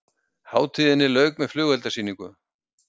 Hátíðinni lauk með flugeldasýningu